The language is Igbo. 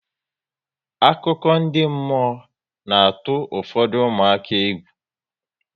Akụkọ ndị mmụọ na atụ ụfọdụ ụmụaka egwu